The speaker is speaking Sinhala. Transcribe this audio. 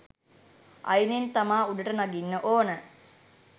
අයිනෙන් තමා උඩට නගින්න ඕන.